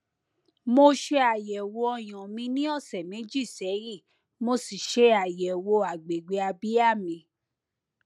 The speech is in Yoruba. mo ṣe àyẹwò ọyàn mi ní ọsẹ méjì sẹyìn mo sì ṣe àyẹwò agbègbè abíyá mi